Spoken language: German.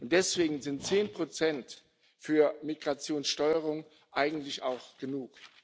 Deswegen sind 10 Prozent für Migrationssteuerung eigentlich auch genug.